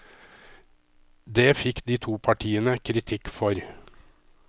Det fikk de to partiene kritikk for.